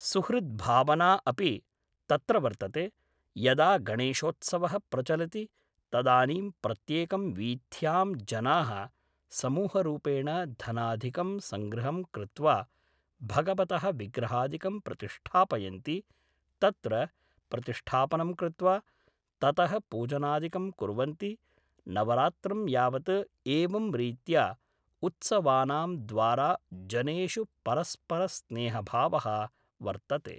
सुहृद्‌ भावना अपि तत्र वर्तते यदा गणेशोत्सवः प्रचलति तदानीं प्रत्येकं वीथ्यां जनाः समूहरूपेण धनादिकं संग्रहं कृत्वा भगवतः विग्रहादिकं प्रतिष्ठापयन्ति तत्र प्रतिष्ठापनं कृत्वा ततः पूजनादिकं कुर्वन्ति नवरात्रं यावत्‌ एवं रीत्या उत्सवानां द्वारा जनेषु परस्पर स्नेहभावः वर्तते